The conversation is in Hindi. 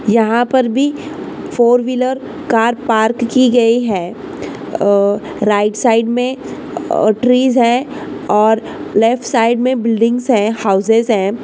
यहाँ पर भी फोर व्हीलर कार पार्क की गयी है अह राइट साइड मे अह ट्रीस है और लेफ्ट साइड मे बिल्डिंग्स है। हाउसेस है।